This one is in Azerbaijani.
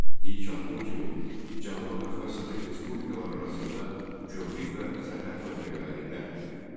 İlk addım kimi Cənubi Qafqaz Sovet respublikaları arasında gömrük və sərhəd məntəqələri ləğv edildi.